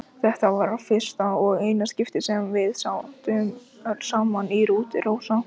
Þetta var í fyrsta og eina skiptið sem við sátum saman í rútu, Rósa.